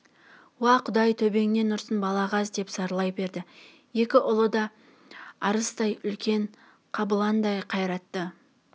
уа құдай төбеңнен ұрсын балағаз деп зарлай берді екі ұлы да арыстай үлкен қабыландай қайратты